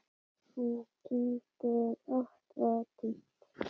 Hún kyngdi ótt og títt.